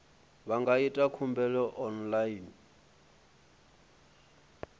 vha nga ita khumbelo online